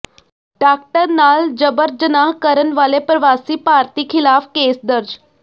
doctor ਨਾਲ ਜ਼ਬਰ ਜਨਾਹ ਕਰਨ ਵਾਲੇ ਪ੍ਰਵਾਸੀ ਭਾਰਤੀ ਖਿਲਾਫ ਕੇਸ ਦਰਜ